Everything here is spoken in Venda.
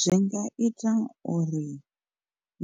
Zwi nga ita uri